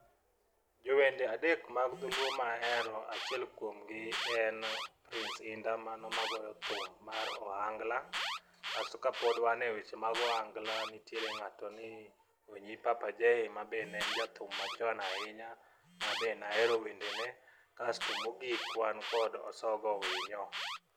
Jowende adek mag dholuo ma ahero achiel kuomgi en prince inda mano magoyo thum mar ohangla kasto kapod wan e weche mag ohanga nitiere ng'ato ni onyi papa jay mabe ne en jathum machon ahinya mabe nahero wenede ne asto mogik wan kod osogo winyo.